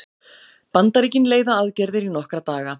Bandaríkin leiða aðgerðir í nokkra daga